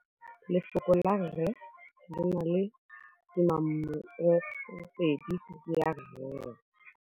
Lefoko la rre, le na le tumammogôpedi ya, r.